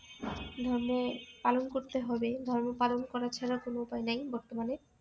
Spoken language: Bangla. ধর্ম পালন করতে হবে ধর্ম পালন করা ছাড়া কোন উপায় নাই বর্তমানে